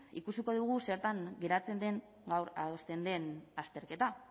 ikusiko dugu zertan geratzen den gaur adosten den azterketa